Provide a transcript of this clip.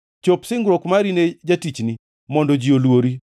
Chop singruok mari ne jatichni, mondo ji oluori.